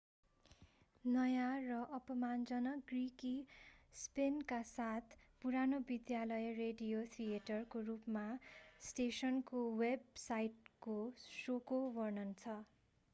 नयाँ र अपमानजनक ग्रिकी स्पिनका साथ पुरानो विद्यालय रेडियो थिएटर को रूपमा स्टेशनको वेब साइटले शोको वर्णन गर्छ